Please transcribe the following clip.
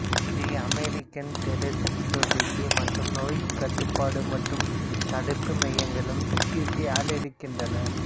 இதை American thoracic society மற்றும் நோய்க் கட்டுப்பாடு மற்றும் தடுப்பு மையங்களும் சி டி சி ஆதரிக்கின்றன